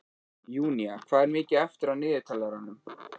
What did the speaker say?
Júnía, hvað er mikið eftir af niðurteljaranum?